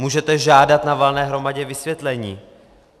Můžete žádat na valné hromadě vysvětlení.